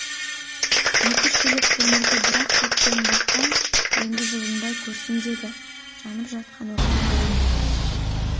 екі-үш шелек көмірді бір-ақ төккен бақан енді жылынбай көрсін деді жанып жатқан отқа қарап